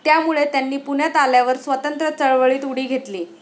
त्यामुळे त्यांनी पुण्यात आल्यावर स्वातंत्र्यचळवळीत उडी घेतली.